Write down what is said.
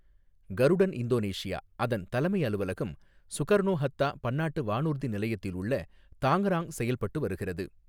கருடன் Indonesia அதன் தலைமை அலுவலகம் சுகர்ணோ ஹத்தா பன்னாட்டு வானூர்தி நிலையத்தில் உள்ள தாங்ராங் செயல்பட்டு வருகிறது.